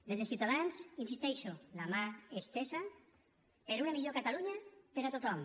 des de ciutadans hi insisteixo la mà estesa per una millor catalunya per a tothom